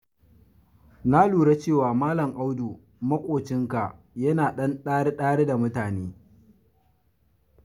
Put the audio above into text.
Na lura cewa Malam Audu maƙocinka yana ɗan ɗari-ɗari da mutane.